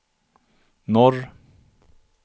norr